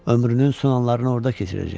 Ömrünün son anlarını orda keçirəcək.